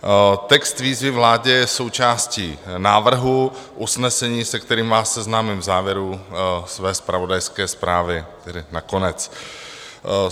Text výzvy vládě je součástí návrhu usnesení, se kterým vás seznámím v závěru své zpravodajské zprávy, tedy na konec.